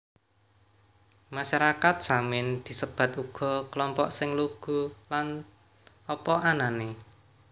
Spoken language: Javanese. Masyarakat Samin disebat uga kelompok sing lugu lan apa anané